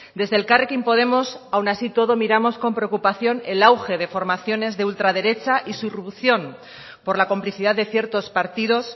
desde elkarrekin podemos aun así todos miramos con preocupación el auge de formaciones de ultraderecha y su irrupción por la complicidad de ciertos partidos